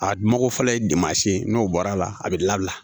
A dungo fɔlɔ ye n'o bɔra a la a bɛ labila